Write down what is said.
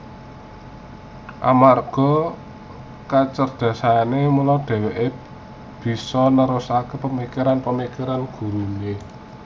Amarga kacerdasane mula dheweke bisa nerusake pemikiran pemikirane gurune